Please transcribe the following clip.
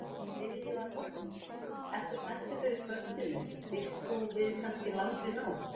Lillý Valgerður: Ert þú spenntur fyrir kvöldinu, býst þú við kannski langri nótt?